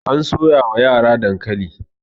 an soya wa yara dankali